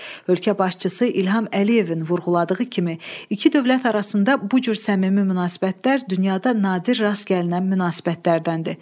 Ölkə başçısı İlham Əliyevin vurğuladığı kimi, iki dövlət arasında bu cür səmimi münasibətlər dünyada nadir rast gəlinən münasibətlərdəndir.